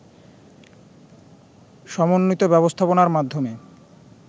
সমন্বিত ব্যবস্থাপনার মাধ্যমে